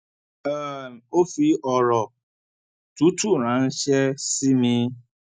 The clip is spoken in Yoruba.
um ó fi òrò tútù ránṣẹ sí mi